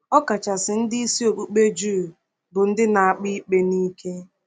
Ọkachasị ndị isi okpukpe Juu bụ ndị na-akpa ikpe n’ike.